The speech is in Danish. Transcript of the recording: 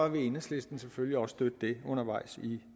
enhedslisten selvfølgelig også støtte det undervejs i